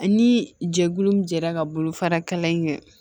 Ni jɛkulu min jɛra ka bolofara kalan in kɛ